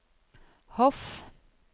Hof